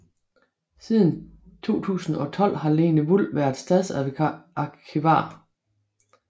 Siden 2012 har Lene Wul været stadsarkivar